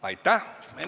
Aitäh!